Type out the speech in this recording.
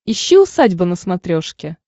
ищи усадьба на смотрешке